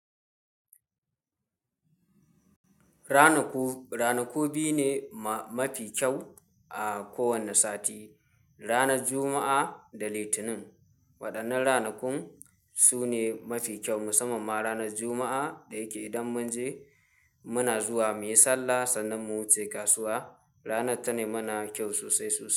Ranaku, ranaku biyu ne mafi kyau a kowane sati, ranar Juma'a da Litinin. Waɗannan ranakun su ne mafi kyau, musamman ma ranar Juma'a da yake idan mun je muna zuwa muyi sallah, sannan mu wuce kasuwa. Ranar tana mana kyau sosai sosai.